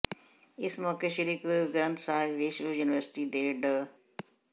ਇਸ ਮੌਕੇ ਸ੍ਰੀ ਗੁਰੂ ਗ੍ੰਥ ਸਾਹਿਬ ਵਿਸ਼ਵ ਯੂੁਨੀਵਰਸਿਟੀ ਦੇ ਡਾ